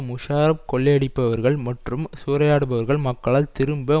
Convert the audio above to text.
முஷாரப் கொள்ளையடிப்பவர்கள் மற்றும் சூறையாடுபவர்கள் மக்களால் திரும்ப